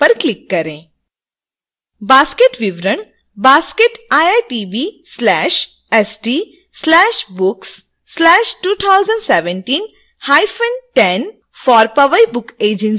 basket विवरण basket iitb/st/books/201710 2 for powai book agency के साथ नया पेज खुलता है